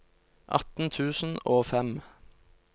atten tusen og fem